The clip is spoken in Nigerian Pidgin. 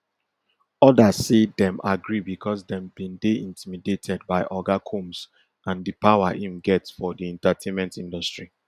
odas say dem agree becos dem bin dey intimidated by oga combs and di power im get for di entertainment industry